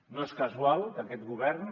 no és casual que aquest govern